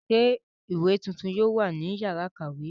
Ṣé àwọn ìwé tuntun yóò wà ní ìyàrá-ìkàwé?